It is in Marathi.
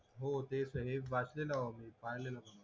हो तेचय हे वाचलेला भावा मी पाहिलेलं मी